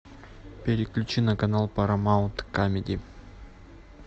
переключи на канал парамаунт камеди